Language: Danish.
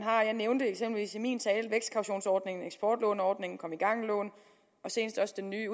har jeg nævnte eksempelvis i min tale vækstkautionsordningen eksportlåneordningen komme i gang lån og senest også den nye